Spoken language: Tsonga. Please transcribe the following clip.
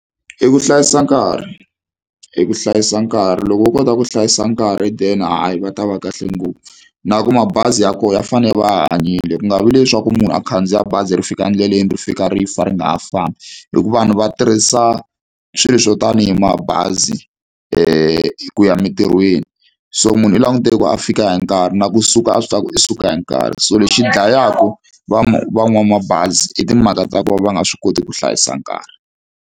I ku hlayisa nkarhi i ku hlayisa nkarhi loko wo kota ku hlayisa nkarhi then hayi va ta va kahle ngopfu na ku mabazi ya kona ya fanele ya va ya hanyile ku nga vi leswaku munhu a khandziya bazi ri fika endleleni ri fika rifa ri nga ha fambi hikuva vanhu va tirhisa swilo swo tanihi mabazi ku ya emitirhweni so munhu u langutele ku a fika hi nkarhi na kusuka a swi tiva ku u suka hi nkarhi so lexi dlayaku van'wamabazi i timhaka ta ku va va nga swi koti ku hlayisa nkarhi.